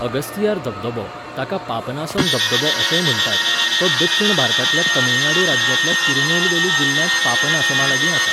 अगस्तियार धबधबो, ताका पापनासम धबधबो अशेंय म्हण्टात, तो दक्षिण भारतांतल्या तमिळनाडू राज्यांतल्या तिरुनेलवेली जिल्ल्यांत पापनासामा लागीं आसा.